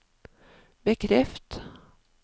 bekreft